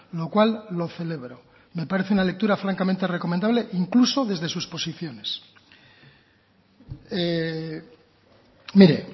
lo cual lo celebro me parece una lectura francamente recomendable incluso desde sus posiciones mire